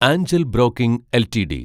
Anchal broking LTD